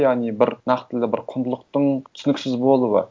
яғни бір нақтылы бір құндылықтың түсініксіз болуы